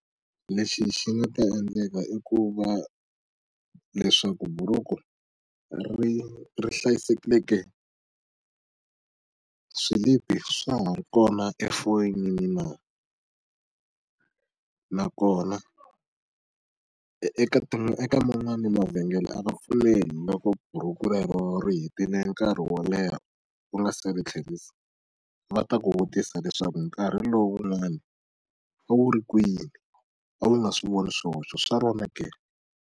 Lexi xi nga ta endleka i ku va leswaku buruku ri ri hlayisekile ke. Swilipi swa ha ri kona efonini na? Nakona, eka eka man'wani mavhengele a va pfumeli loko buruku rero ri hetile nkarhi wo leha ku nga se ri tlherisa. Va ta ku vutisa leswaku nkarhi lowu wun'wani a wu ri kwini? A wu nga swi voni swihoxo swa rona ke?